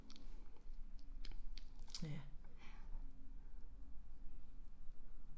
Ja